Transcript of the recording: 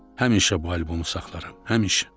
Həmişə bu albomu saxlaram, həmişə.